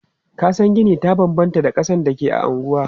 Kasan gini ta banbanta da kasan da ke a anguwa.